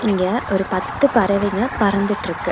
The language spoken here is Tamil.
இங்க ஒரு பத்து பறவைங்க பறந்துட்ருக்கு.